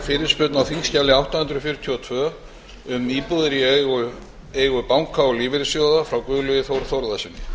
fyrirspurn á þingskjali átta hundruð fjörutíu og tvö um íbúðir í eigu banka og lífeyrissjóða frá guðlaugi þór þórðarsyni